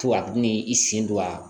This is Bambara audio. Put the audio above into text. Fo a bɛ n'i sen don a la